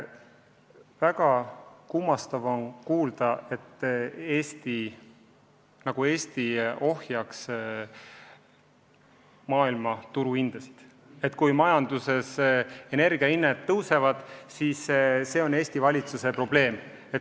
Väga kummastav on kuulda, nagu Eesti ohjaks maailmaturu hindasid – et kui majanduses energia hinnad tõusevad, siis see on Eesti valitsuse probleem.